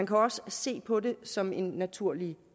kan også se på det som en naturlig